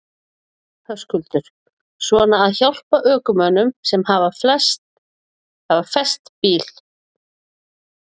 Höskuldur: Svona að hjálpa ökumönnum sem hafa fest bílinn?